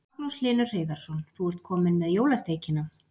Magnús Hlynur Hreiðarsson: Þú ert komin með jólasteikina?